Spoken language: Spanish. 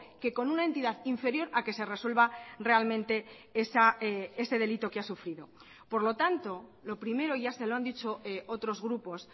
que con una entidad inferior a que se resuelva realmente ese delito que ha sufrido por lo tanto lo primero ya se lo han dicho otros grupos